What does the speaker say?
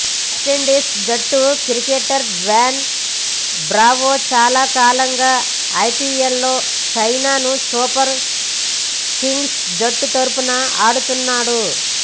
West Indies జట్టు cricketer Dwayne Bravo చాలా కాలంగా ఐపీఎల్లో చెన్నై సూపర్ కింగ్స్ జట్టు తరఫున ఆడుతున్నాడు